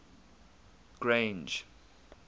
grange